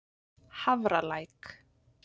Hafralæk